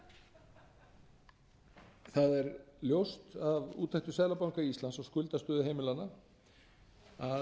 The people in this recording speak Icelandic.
er ljóst að úttektir seðlabanka íslands á skuldastöðu heimilanna að